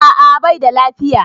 A'a baida lafiya